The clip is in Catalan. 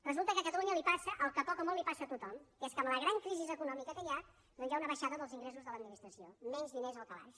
resulta que a catalunya li passa el que poc o molt li passa a tothom que és que amb la gran crisi econòmica que hi ha doncs hi ha una baixada dels ingressos de l’administració menys diners al calaix